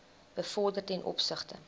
bevorder ten opsigte